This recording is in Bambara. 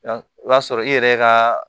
o b'a sɔrɔ i yɛrɛ ka